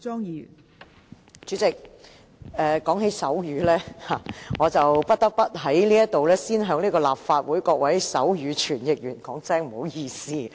代理主席，說到手語，我不得不在這裏先向立法會各位手語傳譯員說一聲不好意思。